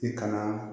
I kana